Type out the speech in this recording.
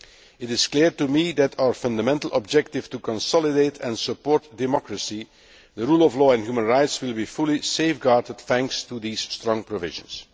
It is clear to me that our fundamental objective to consolidate and support democracy, the rule of law and human rights will be fully safeguarded thanks to these strong provisions.